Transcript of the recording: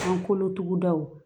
An kolo tugudaw